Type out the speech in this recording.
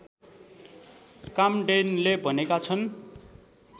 काम्डेनले भनेका छन्